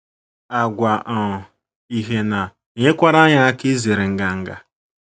Àgwà um ihe na - enyekwara anyị aka izere nganga.